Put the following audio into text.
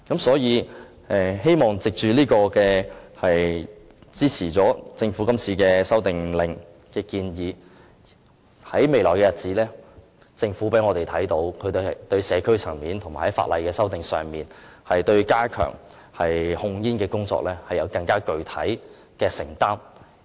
所以，希望藉着支持政府《修訂令》的建議，在未來的日子，我們可以看到政府在社區層面和法例修訂上，對加強控煙工作更有具體的承擔。